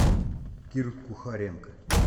кир кухаренко